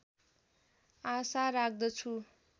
आशा राख्दछु